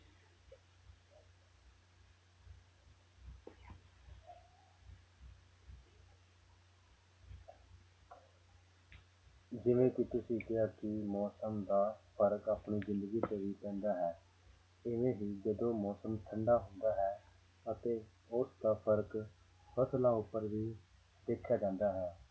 ਜਿਵੇਂ ਤੁਸੀਂ ਕਿਹਾ ਸੀ ਵੀ ਮੌਸਮ ਦਾ ਫ਼ਰਕ ਆਪਣੀ ਜ਼ਿੰਦਗਗੀ ਤੇ ਵੀ ਪੈਂਦਾ ਹੈ, ਇਵੇਂ ਹੀ ਜਦੋਂ ਮੌਸਮ ਠੰਢਾ ਹੁੰਦਾ ਹੈ ਅਤੇ ਉਸਦਾ ਫ਼ਰਕ ਫ਼ਸਲਾਂ ਉੱਪਰ ਵੀ ਦੇਖਿਆ ਜਾਂਦਾ ਹੈ